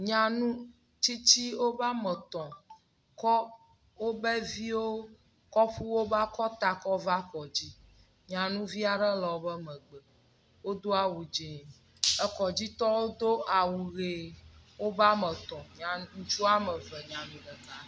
Nyanu tsitsi wobe ame etɔ̃ kɔ wobe viwo kɔ ƒu wobe akɔta kɔ va kɔdzi. Nyanuvi aɖe le wobe megbe. Wodo awu dzi. Ekɔdzitɔwo do awu ʋi wobe ame etɔ̃. Nya ŋutsu ame eve nyanu ɖeka.